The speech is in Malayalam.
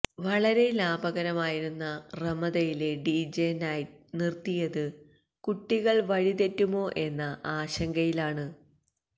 വളരെ ലാഭകരമായിരുന്ന റമദയിലെ ഡിജെ നൈറ്റ് നിര്ത്തിയത് കുട്ടികള് വഴിതെറ്റുമോ എന്ന ആശങ്കയിലാണ്